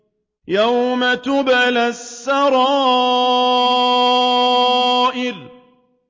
يَوْمَ تُبْلَى السَّرَائِرُ